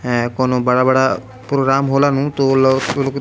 हैं कौनो बड़ा-बड़ा प्रोग्राम होला नु तो लोग उ लोग --